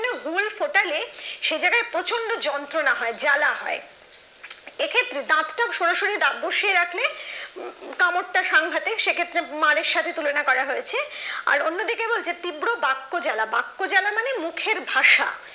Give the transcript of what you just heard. সে জায়গায় প্রচন্ড যন্ত্রণা হয় জ্বালা হয়। এক্ষেত্রে দাঁতটা সরাসরি দাঁত বসিয়ে রাখলে উম কামড়টা সাংঘাতে সেক্ষেত্রে মার এর সাথে তুলনা করা হয়েছে আর অন্যদিকে বলেছে তীব্র বাক্য জালা বাক্য জালা মানে মুখের ভাষা।